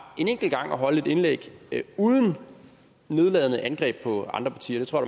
en enkelt gang at holde et indlæg uden nedladende angreb på andre partier det tror